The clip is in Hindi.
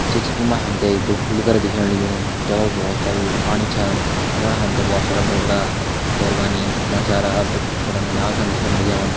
ये चित्र मा हम त एक बड़ू पुल वगैहरा दिखेण लग्युं जा पर बहोत सारू पाणी छन यमा हम ता बहोत सारा बड़ा बड़ा बैरवानि मणछारा और कुछ छोटा छोटा नौनिया छिन दिखेण लग्याँ।